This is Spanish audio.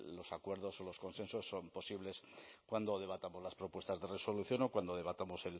los acuerdos o los consensos son posibles cuando debatamos las propuestas de resolución o cuando debatamos